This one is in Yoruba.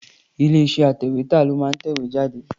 Ilé-iṣẹ́ atẹ̀wétà ló máa ń tẹ ìwé jáde.